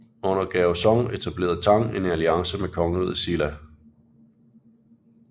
Under Gaozong etablerede Tang en alliance med kongeriget Silla